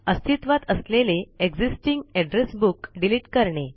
अस्तित्वात असलेलेexisting address book delete करणे